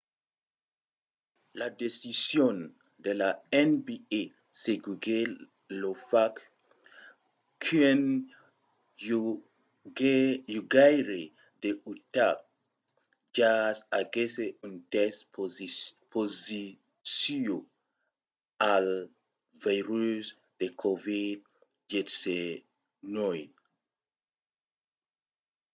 la decision de la nba seguiguèt lo fach qu'un jogaire de l'utah jazz aguèsse un test positiu al virus de covid-19